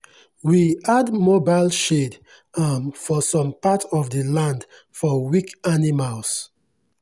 we add mobile shade um for some part of the land for weak animals.